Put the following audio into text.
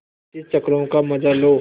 पच्चीस चक्करों का मजा लो